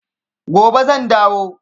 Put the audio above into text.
Gobe zan dawo.